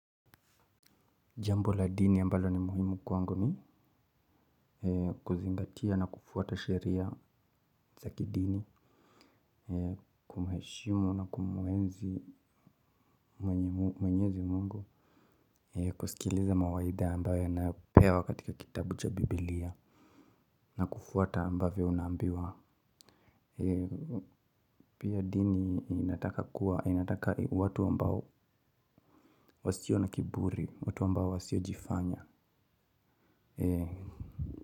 Jambo la dini ambalo ni muhimu kwangu ni kuzingatia na kufuata sheria za kidini. Kumheshimu na kumuenzi mwenyezi Mungu. Kusikiliza mawaidha ambayo napewa katika kitabu cha bibilia na kufuata ambavyo unaambiwa. Pia dini inataka kuwa inataka watu ambao wasio na kiburi watu ambao wasiojifanya.